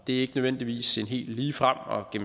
ikke nødvendigvis en helt ligefrem og